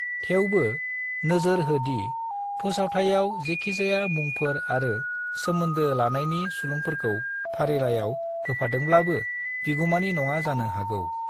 थेवबो, नोजोर हो दि फोसावथाइआव जेखिजाया मुंफोर आरो सोमोन्दो लानायनि सुलुंफोरखौ फारिलाइआव होफादोंब्लाबो बिगुमानि नङा जानो हागौ ।